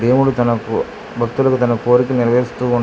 దేవుడు తన భక్తులకు తన కోరిక నెరవేరుస్తూ